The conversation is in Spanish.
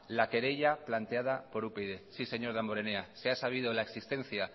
la querella planteada por upyd sí señor damborenea se ha sabido de la existencia